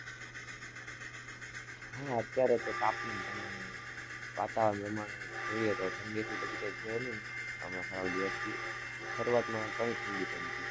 હા અત્યારે તો તાપમાન પ્રમાણે, વાતાવરણ પ્રમાણે જોઈએ તો ઠંડી એટલી બધી કઈ છે નઈ, હમણાં થોડા દિવસથી, શરૂઆતમાં ઘણી ઠંડી પડી'તી.